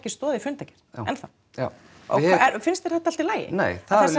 stoð í fundargerð ennþá já já finnst þér þetta allt í lagi nei